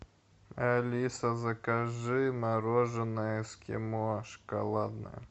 алиса закажи мороженое эскимо шоколадное